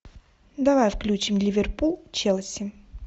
давай включим ливерпуль челси